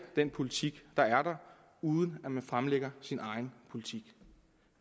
den politik der er uden at man fremlægger sin egen politik